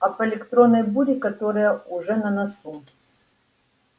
об электронной буре которая уже на носу